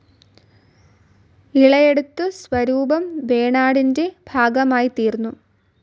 ഇളയടത്തു സ്വരൂപം വേണാടിന്റെ ഭാഗമായിത്തീർന്നു.